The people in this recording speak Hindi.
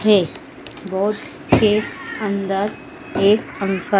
है बोट के अंदर एक पंखा --